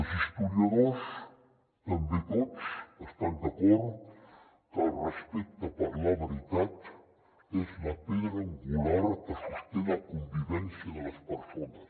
els historiadors també tots estan d’acord que el respecte per la veritat és la pedra angular que sosté la convivència de les persones